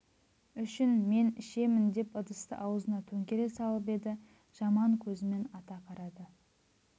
үшін мен ішемін деп ыдысты аузына төңкере салып еді жаман көзімен ата қарады